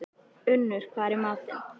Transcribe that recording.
Unnur, hvað er í matinn?